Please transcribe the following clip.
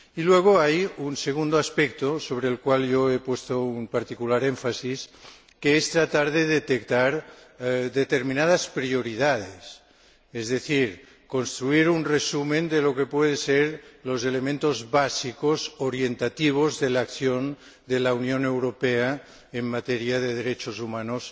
Y luego hay un segundo aspecto en el cual he puesto un particular énfasis, que es tratar de detectar determinadas prioridades, es decir, construir un resumen de lo que pueden ser los elementos básicos orientativos de la acción de la Unión Europea en materia de derechos humanos